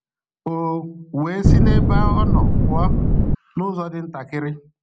O we si nebe ọ nọ pụọ nụzọ dị ntakịrị.